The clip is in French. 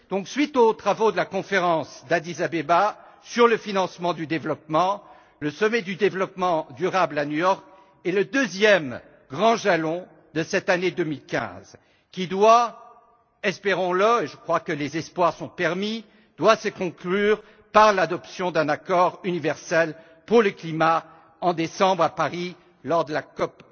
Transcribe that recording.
Suite aux travaux de la conférence d'Addis Abeba sur le financement du développement, le sommet du développement durable à New York est le deuxième grand jalon de cette année 2015, qui doit, espérons le je crois que les espoirs sont permis se conclure par l'adoption d'un accord universel pour le climat en décembre, à Paris, lors de la COP